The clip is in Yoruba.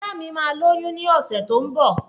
Ajá mi máa lóyún ní ọ̀sẹ̀ tó ń bọ̀